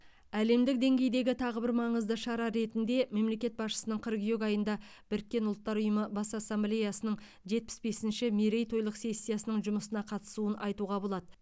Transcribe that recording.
әлемдік деңгейдегі тағы бір маңызды шара ретінде мемлекет басшысының қыркүйек айында біріккен ұлттар ұйымы бас ассамблеясының жетпіс бесінші мерейтойлық сессиясының жұмысына қатысуын айтуға болады